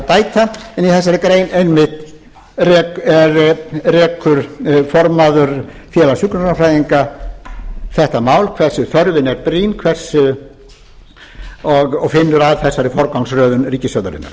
bæta en í þessari grein einmitt rekur formaður félags hjúkrunarfræðinga þetta mál hversu þörfin er brýn og finnur að þessari forgangsröð